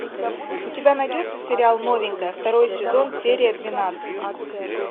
у тебя найдется сериал новенькая второй сезон серия двенадцать